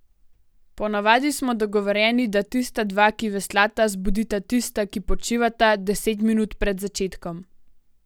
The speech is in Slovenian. Ponavadi smo dogovorjeni, da tista dva, ki veslata, zbudita tista, ki počivata, deset minut pred začetkom.